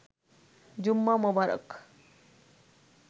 জুম্মা মোবারক